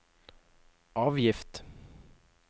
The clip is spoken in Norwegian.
avgift